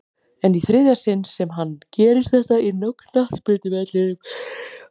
En í þriðja sinn sem hann gerir þetta inná knattspyrnuvellinum?